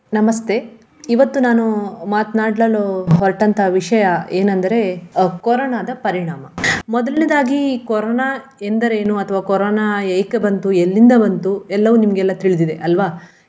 ನಮಸ್ತೆ. ಇವತ್ತು ನಾನು ಮಾತನಾಡಲು ಹೊರಟಂತಹ ವಿಷಯ ಏನಂದರೆ ಅಹ್ ಕೊರೋನದ ಪರಿಣಾಮ. ಮೊದಲನೇದಾಗಿ ಕೊರೋನಾ ಎಂದರೇನು ಅಥವ ಕೊರೋನಾ ಏಕೆ ಬಂತು ಎಲ್ಲಿಂದ ಬಂತು ಎಲ್ಲವು ನಿಮಗೆಲ್ಲ ತಿಳ್ದಿದೆ, ಅಲ್ವ?